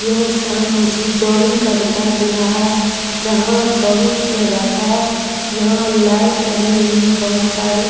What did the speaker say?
यह स्थान जॉगिंग का दिखाई दे रहा है जहाँ जॉगिंग किया जाता है यहाँ लाइट लगी हुयी है बहुत सारी --